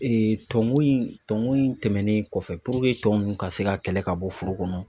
tɔnŋo in tɔnŋo in tɛmɛnen kɔfɛ puruke tɔn ninnu ka se ka kɛlɛ ka bɔ furu kɔnɔ